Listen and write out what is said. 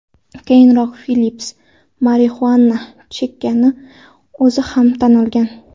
Keyinroq Felps Marixuana chekkanini o‘zi ham tan olgan.